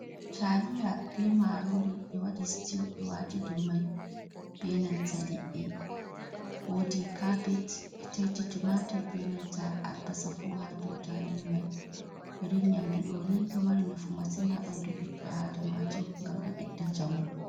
Taliya be marori ɓe waɗi stiw ɓe wati dou mai be nanta liɗɗi. Wodi kabej, ɓe taiti timatur be nanta albasa fu ha do taliya mai. Irin nyamdu ɗoni ɗo mari nafu masin ha ɓandu ɓiɗɗo Adamajo ngam ɗo ɓedda njamu.